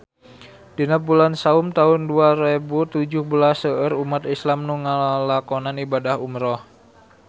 Dina bulan Saum taun dua rebu tujuh belas seueur umat islam nu ngalakonan ibadah umrah